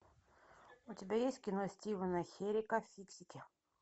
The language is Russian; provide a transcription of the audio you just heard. у тебя есть кино стивена херика фиксики